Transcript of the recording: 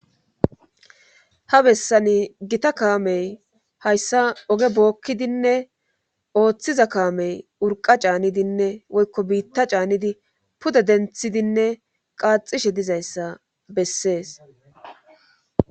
ha bessani gita kaamey hayssa oge bookkidinne ooththiza kaamey urqa caanidinne woykko biitta caanidi pude denthidinne qaaxishe dizayssa bessees